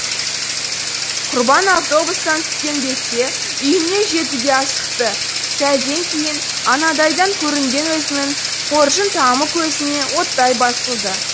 құрбан автобустан түскен бетте үйіне жетуге асықты сәлден кейін анадайдан көрінген өзінің қоржын тамы көзіне оттай басылды